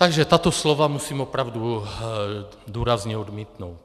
Takže tato slova musím opravdu důrazně odmítnout.